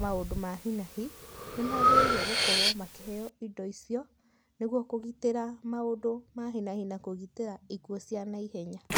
maũndũ ma hi na hi, nĩmagĩrĩirwo gũkorwo makĩheywo indo icio, nĩguo kũgitĩra maũndũ ma hi na hi na kũgitĩra ikuũ cia naihenya.